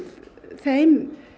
þeim